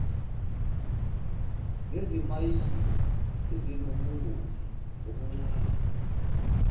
nezimayini ezinobungozi obuncane